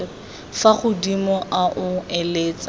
fa godimo a o eletsa